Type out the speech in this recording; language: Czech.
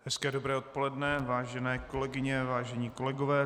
Hezké dobré odpoledne, vážené kolegyně, vážení kolegové.